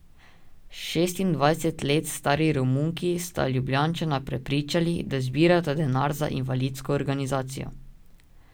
Šestindvajset let stari Romunki sta Ljubljančana prepričali, da zbirata denar za invalidsko organizacijo.